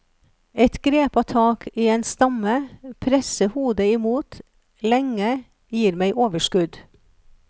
Et grepa tak i en stamme, presse hodet imot, lenge, gir meg overskudd.